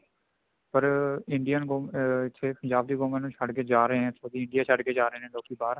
ਪਰ indian government ਅਮ ਮਤਲਬ ਪੰਜਾਬ ਦੀ government ਨੂੰ ਛੱਡ ਕੇ ਜਾ ਰਹੇ ਆ ਦੇਸ਼ ਛੱਡ ਕੇ ਲੋਕੀ ਜਾ ਰਹੇ ਨੇ ਬਾਹਰ